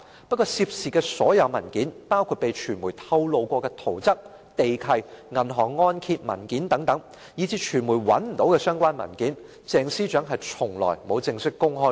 不過，涉事的所有文件，包括被傳媒披露過的圖則、地契和銀行按揭文件等，以致傳媒找不到的相關文件，鄭司長從來也沒有正式公開過。